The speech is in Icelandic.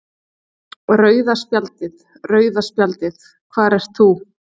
Rauða spjaldið, rauða spjaldið hvar ert þú?